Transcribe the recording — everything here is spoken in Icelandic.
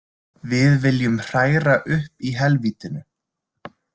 Við viljum hræra upp í helvítinu.